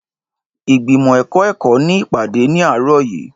Ìgbìmọ̀ ẹ̀kọ́ ẹ̀kọ́ ní ìpàdé ní àárọ̀ yìí.